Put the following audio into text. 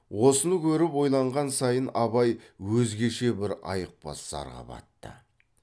осыны көріп ойланған сайын абай өзгеше бір айықпас зарға батты